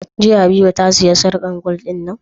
Jiya habiba ta siya sarƙar gwal din nan?